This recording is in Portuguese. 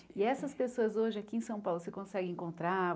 E essas pessoas hoje aqui em São Paulo, você consegue encontrar?